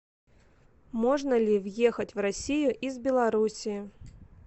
можно ли въехать в россию из белоруссии